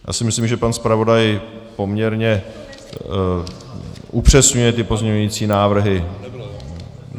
Já si myslím, že pan zpravodaj poměrně upřesňuje ty pozměňující návrhy.